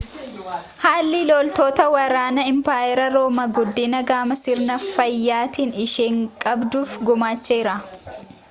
haalli loltoota waraana impaayera roomaa guddina gama sirna faayyaatiin isheen qabduuf gumaacheera